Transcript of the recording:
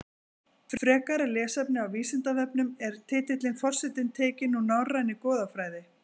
Frekara lesefni á Vísindavefnum Er titillinn forseti tekinn úr norrænni goðafræði?